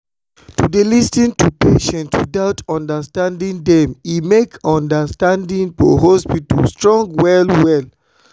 to dey lis ten to patients without condemning dem e make understanding for hospital strong well well.